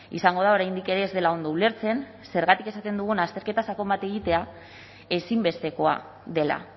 izango da oraindik ere ez dela ondo ulertzen zergatik esaten dugun azterketa sakon bat egitea ezinbestekoa dela